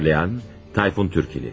Uyarlayan: Tayfun Türkili.